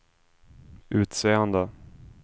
utseende